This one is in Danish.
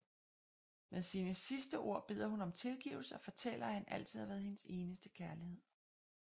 Med sine sidste ord beder hun om tilgivelse og fortæller at han altid har været hendes eneste kærlighed